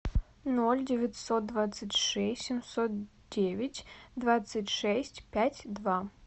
ноль девятьсот двадцать шесть семьсот девять двадцать шесть пять два